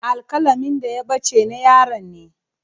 Alƙalamin da ya ɓace na yaron ne.